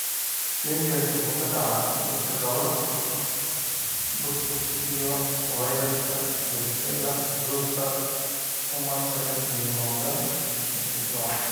Shingles wuxuu ku dhacaa dadka qaba busbuska iyo fayraska varicella zoster-ku mar kale ayuu noqdaa mid firfircoon.